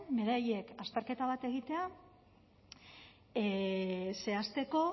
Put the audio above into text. beraiek azterketa bat egitea zehazteko